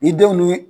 Ni denw ni